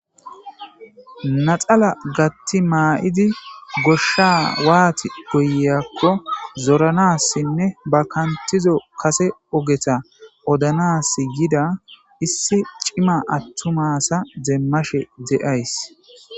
Naxala gatti maa7idi goshsha waati goyakko zoranassinne ba kantizo kase ogeta odanas gida issi cima attumasa deemmashe de7ays